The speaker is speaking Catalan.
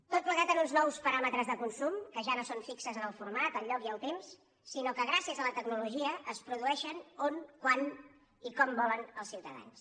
tot plegat amb uns nous paràmetres de consum que ja no són fixos en el format el lloc ni el temps sinó que gràcies a la tecnologia es produeixen on quan i com volen els ciutadans